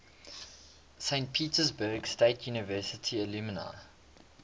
saint petersburg state university alumni